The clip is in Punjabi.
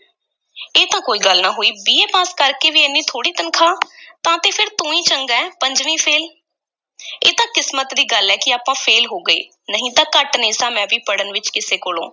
ਇਹ ਤਾਂ ਕੋਈ ਗੱਲ ਨਾ ਹੋਈ BA ਪਾਸ ਕਰ ਕੇ ਵੀ ਏਨੀ ਥੋੜ੍ਹੀ ਤਨਖ਼ਾਹ ਤਾਂ ਤੇ ਫੇਰ ਤੂੰ ਈ ਚੰਗਾ ਹੈ ਪੰਜਵੀਂ ਫ਼ੇਲ੍ਹ ਇਹ ਤਾਂ ਕਿਸਮਤ ਦੀ ਗੱਲ ਐ ਕਿ ਆਪਾਂ ਫ਼ੇਲ੍ਹ ਹੋ ਗਏ, ਨਹੀਂ ਤਾਂ ਘੱਟ ਨਹੀਂ ਸਾਂ ਮੈਂ ਵੀ ਪੜ੍ਹਨ ਵਿੱਚ, ਕਿਸੇ ਕੋਲੋਂ।